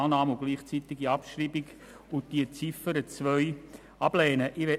Annahme und gleichzeitige Abschreibung der Ziffer 1 sowie Ablehnung der Ziffer 2.